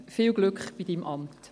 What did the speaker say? Viel Glück bei Ihrem Amt!